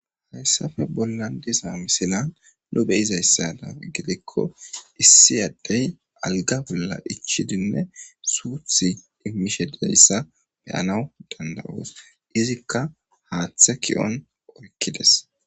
hayssafe bolla diza misilan nu beyizayssada gidikko issi addey alga bolla ichidinne suuthi immishedeyssa beyanaw danda7oos izikka haaththe ki7on oykkides